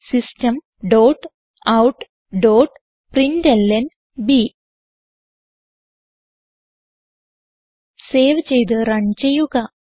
system dot out dot println save ചെയ്ത് run ചെയ്യുക